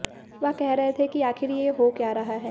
वह कर रहे थे कि आखिर ये हो क्या रहा है